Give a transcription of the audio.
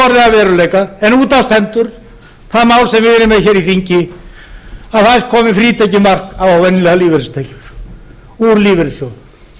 veruleika en út af stendur það mál sem við erum með hér í þingi að næst komi frítekjumark á venjulegar lífeyristekjur úr lífeyrissjóðum